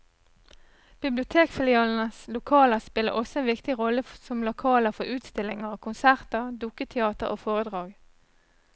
Bibliotekfilialenes lokaler spiller også en viktig rolle som lokaler for utstillinger, konserter, dukketeater og foredrag.